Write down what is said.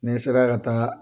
Ni sera ka taga